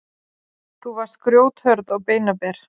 Þú varst grjóthörð og beinaber.